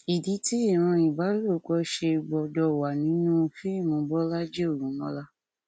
ìdí tí ìran ìbálòpọ ṣe gbọdọ wà nínú fíìmù bọlajì ògúnmọlá